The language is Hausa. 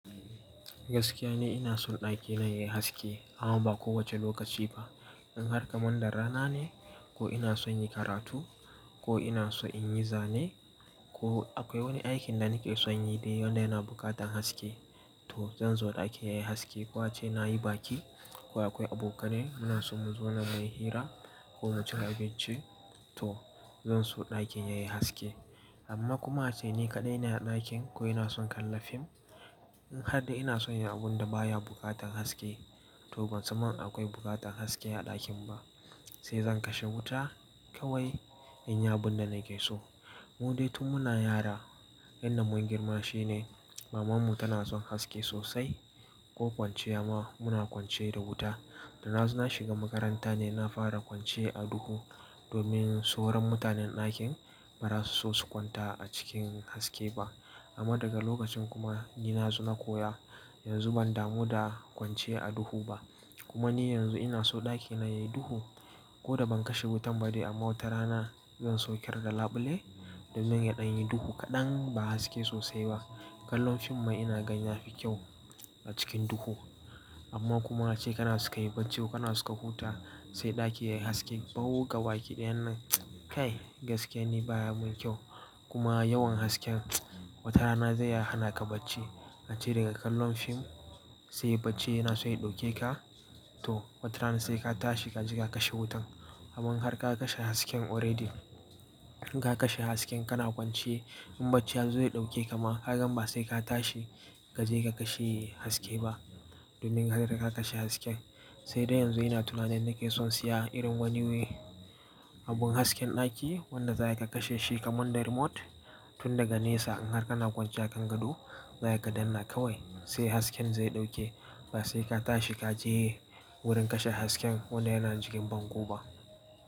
Gaskiya ni ina son ɗakina yayi haske amma ba kowace lokaci ba. In har kamanda rana ne ko ina son yi karatu ko ina so in yi zane ko akwai wani aikin da nake son yi dai wanda yana buƙatan haske to zan so ɗaki yayi haske. Ko ace nayi baki ko akwai abokanai muna so mu zona mu yi hira ko mu ci abinci to zan so ɗakin yayi haske. Amma kuma ace ni kaɗai ina ɗakin ko ina son kalla fim in har dai ina son yi abun da baya buƙatan haske to ban san mun akwai buƙatan haske a ɗakin ba sai zan kashe wuta kawai in yi abun da nake so. Mu dai tun muna yara, yan nan mun girma shine mamanmu tana son haske sosai ko kwanciya ma muna kwance da wuta. Da na zo na shiga makaranta ne na fara kwance a duhu domin sauran mutanen ɗakin ba za su so su kwanta a cikin haske ba. Amma daga lokacin kuma ni na zo na koya yanzu ban damu da kwance a duhu ba. Kuma ni yanzu ina so ɗakina yayi duhu ko da ban kashe wutan ba dai amma watarana zan sauke da laɓule domin ya ɗan yi duhu kaɗan ba haske sosai ba. Kallon fim ma ina gan yafi kyau a cikin duhu. Amma kuma ace kana so ka yi bacci ko kana so ka huta sai ɗaki yayi haske bau gabakiɗayannan kai gaskiya ni baya mun kyau. Kuma yawan hasken watarana zai iya hana ka bacci ace daga kallon fim sai bacci yana so ya ɗauke ka to watarana sai ka tashi ka je ka kashe wutan. Amman har ka kashe hasken already in ka kashe hasken kana kwance in bacci ya zo ya ɗauke ka ma ka gan ba sai ka tashi ka je ka kashe haske ba domin ka riga ka kashe hasken. Sai dai yanzu ina tunanin nake son siya irin wani wai abun hasken ɗaki wanda za ka kashe shi kaman da remote tun daga nesa in har kana kwance akan gado za ka danna kawai sai hasken zai ɗauke ba sai ka tashi ka je wurin kashe hasken wanda yana jikin bango ba.